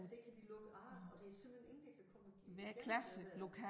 Og det kan de lukke af og der simpelthen ingen der kan komme igennem det der